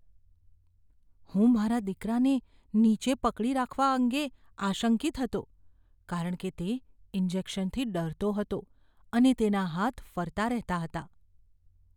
હું મારા દીકરાને નીચે પકડી રાખવા અંગે આશંકિત હતો કારણ કે તે ઇન્જેક્શનથી ડરતો હતો અને તેના હાથ ફરતા રહેતા હતા.